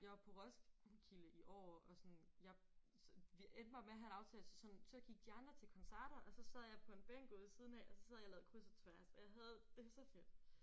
Jeg var på Roskilde i år og sådan jeg så vi endte bare med at have en aftale så sådan så gik de andre til koncerter og sad jeg på en bænk ude i siden af og så sad jeg og lavede kryds og tværs og jeg havde det så fedt